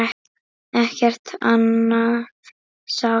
Ekkert annað sást.